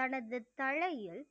தனது தலையில்